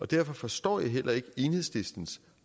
derfor forstår jeg heller ikke enhedslistens